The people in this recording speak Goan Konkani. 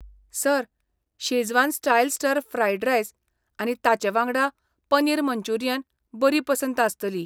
Sir, Schezwan style stir fried rice आनी ताचें वांगडा पनीर मंचुरियन बरी पसंत आसतली.